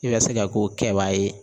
I ka se ka k'o kɛbaa ye